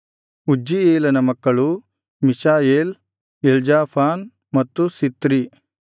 ಉಜ್ಜೀಯೇಲನ ಮಕ್ಕಳು Mishael Elzaphan ಮತ್ತು Zithri